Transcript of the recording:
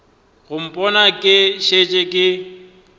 go mpona ke šetše ke